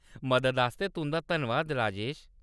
मददा आस्तै तुं'दा धन्नबाद, राजेश।